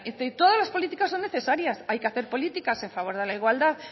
de todas las políticas son necesarias hay que hacer políticas a favor de la igualdad